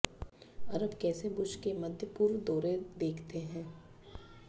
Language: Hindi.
अरब कैसे बुश के मध्य पूर्व दौरे देखते हैं